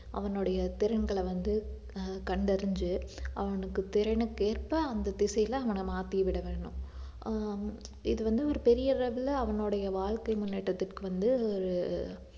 அவனுடைய திறன்களை வந்து ஆஹ் கண்டறிஞ்சு அவனுக்கு திறனுக்கேற்ப அந்த திசையில அவன மாத்தி விட வேணும் ஆஹ் இது வந்து ஒரு பெரிய அளவுல அவனுடைய வாழ்க்கை முன்னேற்றத்திற்கு வந்து